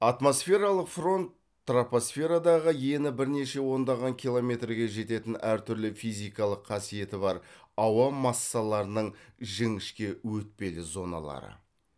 атмосфералық фронт тропосферадағы ені бірнеше ондаған километрге жететін әр түрлі физикалық қасиеті бар ауа массаларының жіңішке өтпелі зоналары